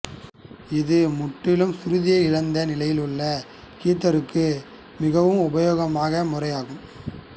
இது முற்றிலும் சுருதியை இழந்த நிலையில் உள்ள கித்தாருக்கு மிகவும் உபயோகமான முறையாகும்